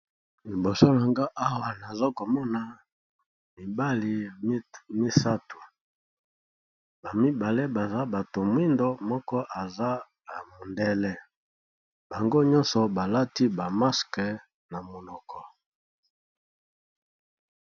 Liboso nangai Awa nazokomona mibale misatu, mibale baza baza muyindo moko azali ya mondele bango nyoso balati ba maske na monoko.